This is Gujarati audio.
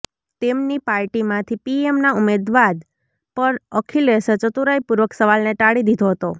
તેમની પાર્ટીમાંથી પીએમના ઉમેદવાદ પર અખિલેશે ચતુરાઇપૂર્વક સવાલને ટાળી દીધો હતો